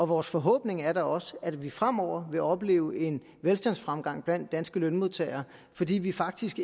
vores forhåbning er da også at vi fremover vil opleve en velstandsfremgang blandt danske lønmodtagere fordi vi faktisk